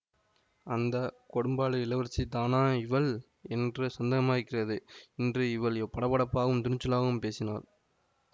அந்த கொடும்பாளூர் இளவரசிதானா இவள் என்றே சந்தேகமாயிருக்கிறது இன்று எவ்வளவு படபடப்பாகவும் துணிச்சலாகவும் பேசினாள்